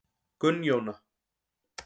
Gunnjóna